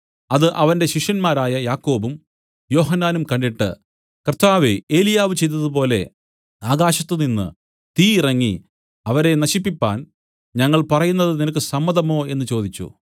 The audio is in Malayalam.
അത് അവന്റെ ശിഷ്യന്മാരായ യാക്കോബും യോഹന്നാനും കണ്ടിട്ട് കർത്താവേ ഏലിയാവ് ചെയ്തതുപോലെ ആകാശത്തുനിന്ന് തീ ഇറങ്ങി അവരെ നശിപ്പിപ്പാൻ ഞങ്ങൾ പറയുന്നത് നിനക്ക് സമ്മതമോ എന്നു ചോദിച്ചു